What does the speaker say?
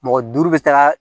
Mɔgɔ duuru bɛ taa